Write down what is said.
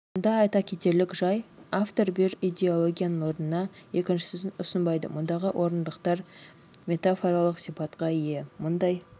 мұнда айта кетерлік жай автор бір идеологияның орнына екіншісін ұсынбайды мұндағы орындықтар метафоралық сипатқа ие мұндай